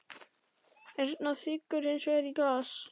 Erna þiggur hins vegar í glas.